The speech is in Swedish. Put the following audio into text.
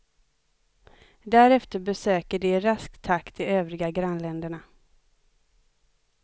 Därefter besöker de i rask takt de övriga grannländerna.